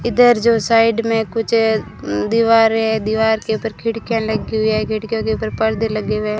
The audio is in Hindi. इधर जो साइड में कुछ दीवार है दीवार के ऊपर खिड़कियां लगी हुई है खिड़कियों के ऊपर परदे लगे हुए है।